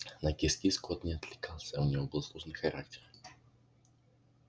на кис-кис кот не откликался у него был сложный характер